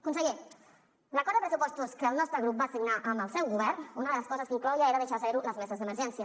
conseller l’acord de pressupostos que el nostre grup va signar amb el seu govern una de les coses que inclou ja era deixar a zero les meses d’emergència